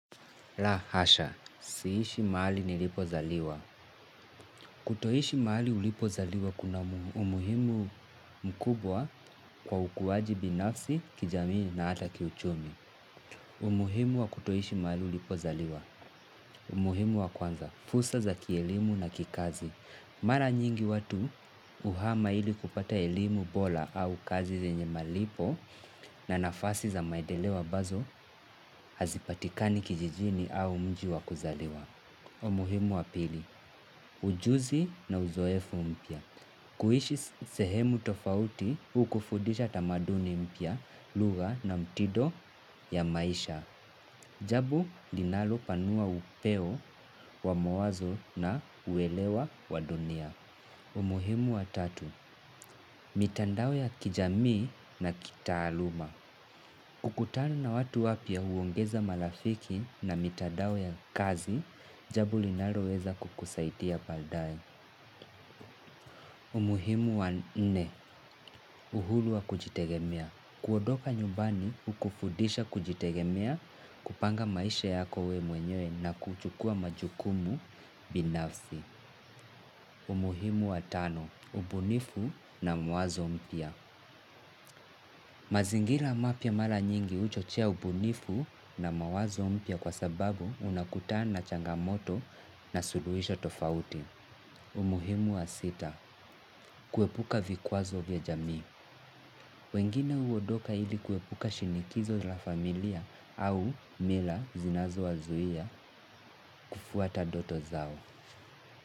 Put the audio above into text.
La hasha, siishi mahali nilipozaliwa. Kutoishi mali ulipo zaliwa kuna umuhimu mkubwa kwa ukuwaji binafsi kijamii na ata kiuchumi. Umuhimu wa kutoishi mahali ulipo zaliwa. Umuhimu wa kwanza. Fursa za kielimu na kikazi. Mara nyingi watu uhama ili kupata elimu bola au kazi zenye malipo na nafasi za maedeleo ambazo hazipatikani kijijini au mji wa kuzaliwa. Umuhimu wa pili, ujuzi na uzoefu mpya. Kuishi sehemu tofauti, hukufudisha tamaduni mpya, lugha na mtido ya maisha. Jabu, linalo panua upeo wa mawazo na uelewa wa dunia. Umuhimu wa tatu, mitandao ya kijamii na kitaaluma. Kukutana na watu wapya huongeza malafiki na mitandao ya kazi, jabo linalo weza kukusaidia baadae. Umuhimu wa nne, uhulu wa kujitegemea. Kuodoka nyumbani, hukufudisha kujitegemea, kupanga maisha yako we mwenyewe na kuchukua majukumu binafsi. Umuhimu wa tano, ubunifu na mwazo mpya. Mazingira mapya mara nyingi huchochea ubunifu na mawazo mpya kwa sababu unakutana na changamoto na suluisho tofauti. Umuhimu wa sita, kuepuka vikwazo vya jamii. Wengine uodoka ili kuepuka shinikizo la familia au mila zinazo wazuia kufuata doto zao.